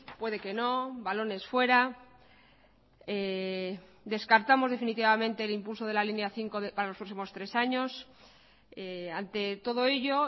puede que no balones fuera descartamos definitivamente el impulso de la línea cinco para los próximos tres años ante todo ello